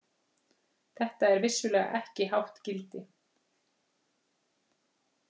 Þetta er vissulega ekki hátt gildi.